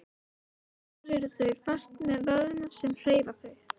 Þar eru þau fest með vöðvum sem hreyfa þau.